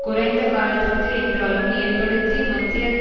குறைந்த காலத்திற்கு என்றாலும் ஏற்படுத்தி மத்தியதர